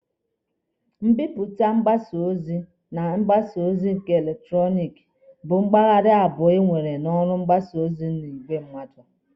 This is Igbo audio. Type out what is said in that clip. Mbipụta mgbasa ozi na mgbasa ozi eletrọnịkị bụ mpaghara abụọ e nwere na ọrụ mgbasa ozi n'igwe mmadụ.